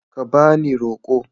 Ka ba ni roko.